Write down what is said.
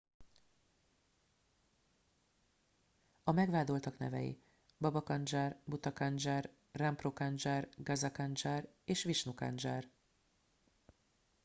a megvádoltak nevei baba kanjar bhutha kanjar rampro kanjar gaza kanjar és vishnu kanjar